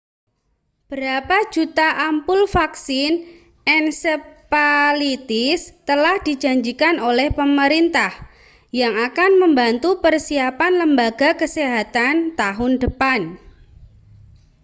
beberapa juta ampul vaksin encephalitis telah dijanjikan oleh pemerintah yang akan membantu persiapan lembaga kesehatan tahun depan